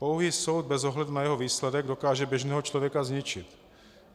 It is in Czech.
Pouhý soud bez ohledu na jeho výsledek dokáže běžného člověka zničit.